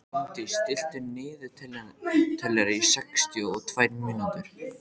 Hólmdís, stilltu niðurteljara á sextíu og tvær mínútur.